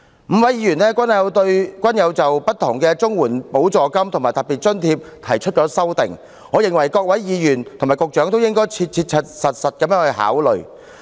五位議員的修正案均提及不同的綜援補助金和特別津貼，我認為各位議員和局長應切實考慮他們的建議。